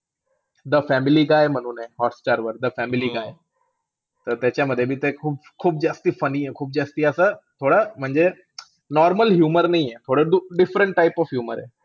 The family guy म्हणून आहे हॉटस्टारवर द फॅमिली गाय. त त्याच्यामध्ये बी ते खूप-खूप जास्ती funny आहे. खूप जास्ती असं, थोडं म्हणजे normal humor नाहीये, different type of humor आहे.